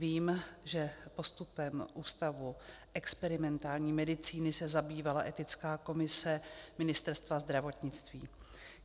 Vím, že postupem Ústavu experimentální medicíny se zabývala etická komise Ministerstva zdravotnictví.